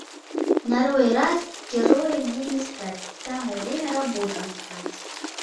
нарой раз героем мне не стать самое время работу искать